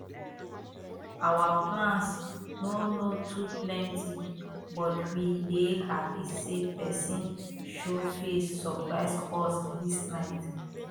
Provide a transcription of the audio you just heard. our plans no no too plenty but we dey happy say person show face surprise us this night